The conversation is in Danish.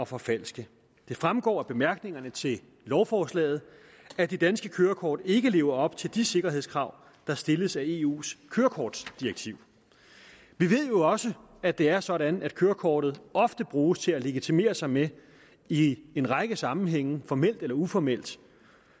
forfalske det fremgår af bemærkningerne til lovforslaget at de danske kørekort ikke lever op til de sikkerhedskrav der stilles af eus kørekortdirektiv vi ved jo også at det er sådan at kørekortet ofte bruges til at legitimere sig med i en række sammenhænge formelt eller uformelt